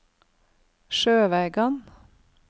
Sjøvegan